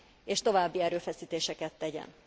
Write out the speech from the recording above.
és további erőfeszítéseket tegyen.